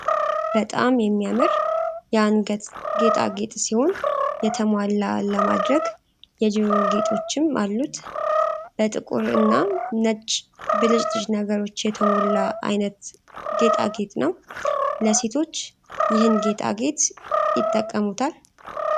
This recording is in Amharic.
በጣም የሚያምር የ አንገት ጌጣጌጥ ሲሆን የተሟላ ለማድረግ የጆሮ ጌጦችም አሉት በ ጥቁር እና ነጭ ብልጭልጭ ነገሮች የተሞላ አይነት ጌጣጌጥ ነው ። ለሴቶች ይህን ጌጣጌጥ ይጠቀሙታል።